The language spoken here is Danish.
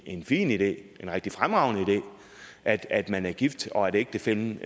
en fin idé en rigtig fremragende idé at at man er gift og at ægtefællen